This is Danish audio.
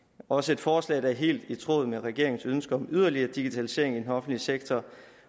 også et forslag der er helt i tråd med regeringens ønske om yderligere digitalisering i den offentlige sektor